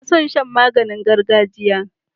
Ina son shan maganin gargajiya.